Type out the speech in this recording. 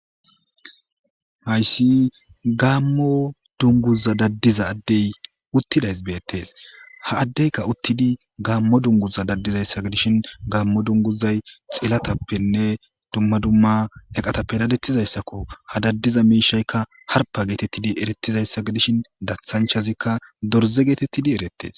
Hayss gamo dungiza dadiza utida adey bettes ha adeyikka utid gammo dunguza dadiza ade gidishshin gammo dunguzay xilatappenne dumma dumma eqatappe dadetizayssakko ha dadiza mishayikka harppa getetid ererizayssa gidishin dathanchchazikka dorze getetidi eretes